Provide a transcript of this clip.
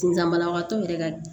Sisan banabagatɔ yɛrɛ ka